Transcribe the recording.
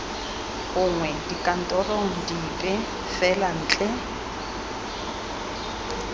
gongwe dikantorong dipe fela ntle